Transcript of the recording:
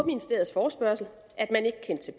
ministeriets forespørgsel at man ikke kendte til